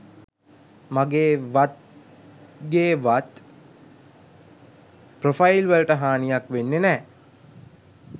මගේ වත්ගේ වත් ප්‍රොෆයිල් වලට හානියක් වෙන්නේ නෑ